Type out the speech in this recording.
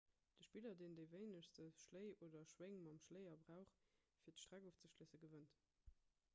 de spiller deen déi wéinegst schléi oder schwéng mam schléier brauch fir d'streck ofzeschléissen gewënnt